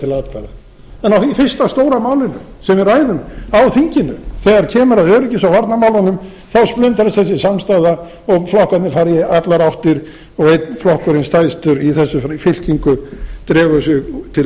til atkvæða en á fyrsta stóra málinu sem við ræðum á þinginu þegar kemur að öryggis og varnarmálunum þá splundrast þessi afstaða og flokkarnir fara í allar áttir og einn flokkurinn stærstur í þessari fylkingu dregur sig til